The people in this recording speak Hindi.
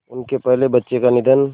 उनके पहले बच्चे का निधन